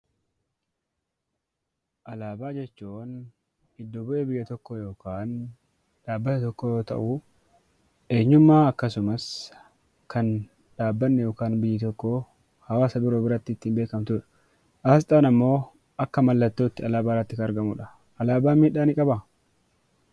Alaabaa jechuun iddo-bu'ee biyya tokkoo yookaan dhaabbata tokkoo yoo ta'u, eenyummaa akkasumas kan dhaabbanni yookaan biyyi tokko hawaasa biroo biratti ittiin beekamtuu dha. Asxaan ammoo akka mallattootti alaabaa irratti kan argamu dha. Alaabaan miidhaa ni qabaa?